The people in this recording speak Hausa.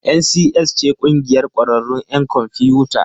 NCS ce ƙungiyar ƙwararrun 'yan kwamfiyuta.